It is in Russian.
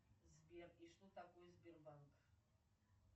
сбер и что такое сбербанк